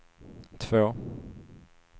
två